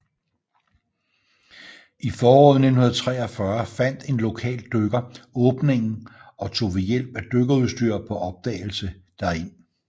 I foråret 1943 fandt en lokal dykker åbningen og tog ved hjælp af dykkerudstyr på opdagelse derind